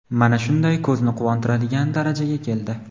mana shunday ko‘zni quvontiradigan darajaga keldi.